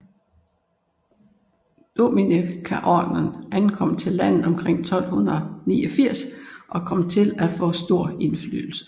Dominikanerordenen ankom til landet omkring 1249 og kom til at få stor indflydelse